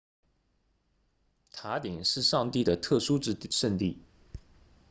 塔顶是上帝的特殊圣地